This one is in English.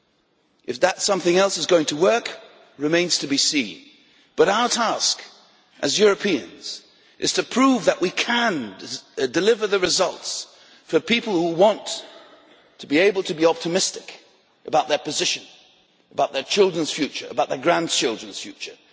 Whether that something else is going to work remains to be seen, but our task as Europeans is to prove that we can deliver the results for people who want to be able to be optimistic about their position, about their children's future and about their grandchildren's future.